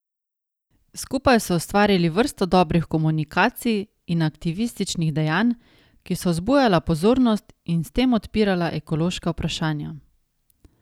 Skupaj so ustvarili vrsto dobrih komunikacij in aktivističnih dejanj, ki so vzbujala pozornost in s tem odpirala ekološka vprašanja.